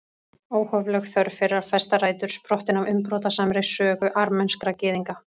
Óhófleg þörf fyrir að festa rætur, sprottin af umbrotasamri sögu armenskra gyðinga.